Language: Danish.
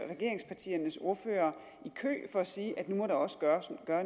regeringspartiernes ordførere i kø for at sige at nu må der også gøres